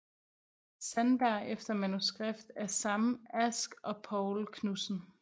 Sandberg efter manuskript af Sam Ask og Poul Knudsen